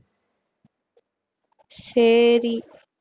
சரி